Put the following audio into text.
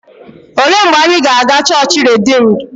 Olee mgbe anyị ga-aga chọọchị Rediimdu?